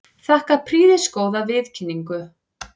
Þakka prýðisgóða viðkynningu.